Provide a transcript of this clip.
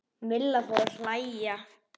Milla fór að hlæja.